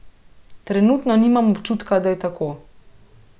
Trenutno nimam občutka, da je tako.